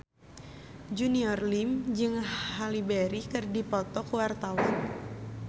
Junior Liem jeung Halle Berry keur dipoto ku wartawan